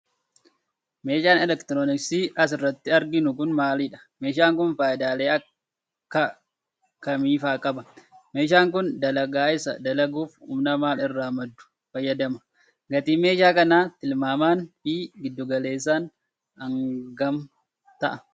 Meeshaan elektrooniksii as irratti arginu kun, maalidha? Meeshaan kun, faayidaalee akka kamii faa qaba? Meeshaan kun dalagaa isaa dalaguuf, humna maal irraa maddu fayyadama? Gatiin meeshaa kana tilmaamaan fi giddu galesssaan hnga kam ta'a?